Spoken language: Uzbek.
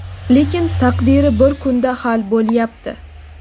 lekin taqdiri bir kunda hal bo‘lyapti.